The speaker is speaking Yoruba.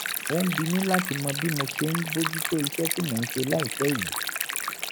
ó ń bi mí láti mọ bí mo ti ṣe ń bójú tó iṣẹ́ tí mò ń ṣe láìpẹ́ yìí